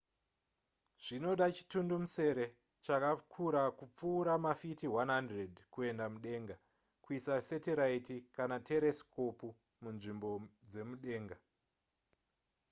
zvinoda chimutundumusere chakakura kupfuura mafiti 100 kuenda mudenga kuisa setiraiti kana teresikopu munzvimbo dzemudenga